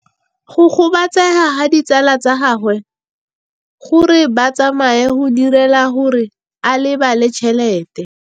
Go gobagobetsa ga ditsala tsa gagwe, gore ba tsamaye go dirile gore a lebale tšhelete.